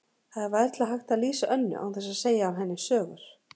Það er varla hægt að lýsa Önnu án þess að segja af henni sögur.